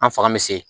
An fanga bɛ se